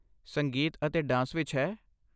ਸੰਗੀਤ ਅਤੇ ਡਾਂਸ ਵਿੱਚ ਹੈ?